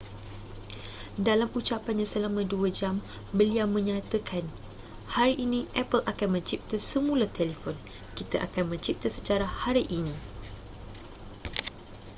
dalam ucapannya selama 2 jam beliau menyatakan hari ini apple akan mencipta semula telefon kita akan mencipta sejarah hari ini